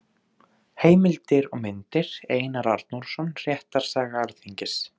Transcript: Heimildir og myndir: Einar Arnórsson: Réttarsaga Alþingis.